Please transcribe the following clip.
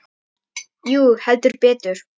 Jú, heldur betur